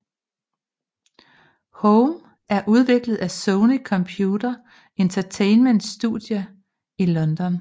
Home er udviklet af Sony Computer Entertainments studie i London